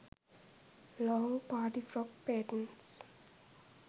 long party frock patens